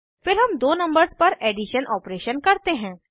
फिर हम दो नंबर्स पर एडिशन ऑपरेशन करते हैं